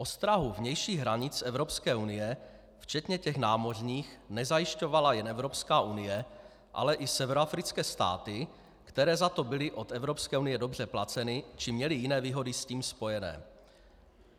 Ostrahu vnějších hranic Evropské unie včetně těch námořních nezajišťovala jen Evropská unie, ale i severoafrické státy, které za to byly od Evropské unie dobře placeny či měly jiné výhody s tím spojené.